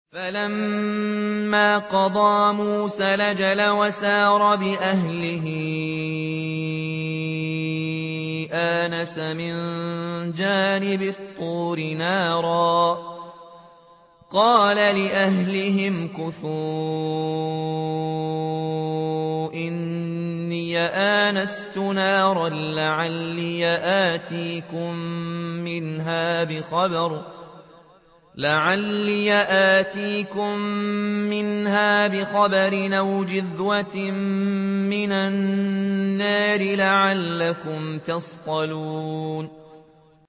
۞ فَلَمَّا قَضَىٰ مُوسَى الْأَجَلَ وَسَارَ بِأَهْلِهِ آنَسَ مِن جَانِبِ الطُّورِ نَارًا قَالَ لِأَهْلِهِ امْكُثُوا إِنِّي آنَسْتُ نَارًا لَّعَلِّي آتِيكُم مِّنْهَا بِخَبَرٍ أَوْ جَذْوَةٍ مِّنَ النَّارِ لَعَلَّكُمْ تَصْطَلُونَ